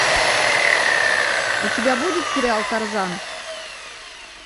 у тебя будет сериал тарзан